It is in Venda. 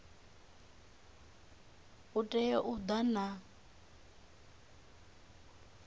u tea u ḓa na